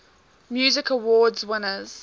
music awards winners